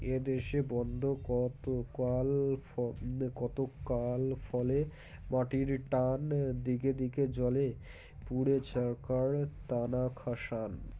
এদেশে বন্ধ কতকাল ফল কতকাল ফলে মাটির টান দিকে দিকে জ্বলে পুড়ে ছারখার টানা খাসান